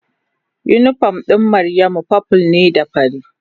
Unipom ɗin Maryamu purple ne da fari.